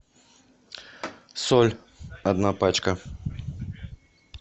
соль одна пачка